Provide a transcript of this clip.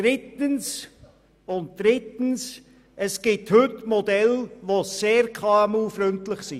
Drittens: Es gibt heute Modelle, die sehr KMU-freundlich sind.